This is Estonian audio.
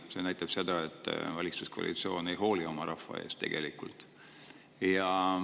See näitab seda, et valitsuskoalitsioon tegelikult ei hooli oma rahvast.